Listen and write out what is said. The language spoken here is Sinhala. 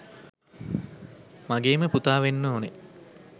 මගේම පුතා වෙන්න ඕන.